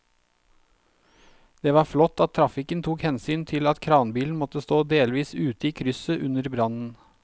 Det var flott at trafikken tok hensyn til at kranbilen måtte stå delvis ute i krysset under brannen.